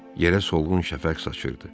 Yerə solğun şəfəq saçırdı.